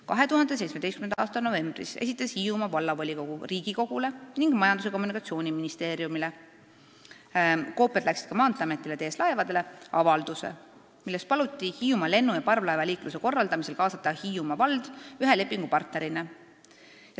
" 2017. aasta novembris esitas Hiiumaa Vallavolikogu Riigikogule ning Majandus- ja Kommunikatsiooniministeeriumile – koopiad läksid ka Maanteeametile ja TS Laevadele – avalduse, milles paluti Hiiumaa lennu- ja parvlaevaliikluse korraldamisel kaasata Hiiumaa vald ühe lepingupartnerina.